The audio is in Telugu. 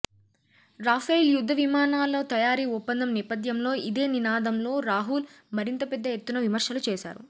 రాఫైల్ యుద్ధ విమానాల తయారీ ఒప్పందం నేపథ్యంలో ఇదే నినాదంలో రాహుల్ మరింత పెద్ద ఎత్తున విమర్శలు చేశారు